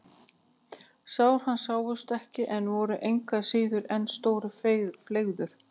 Sár hans sáust ekki en voru engu að síður sem stór fleiður.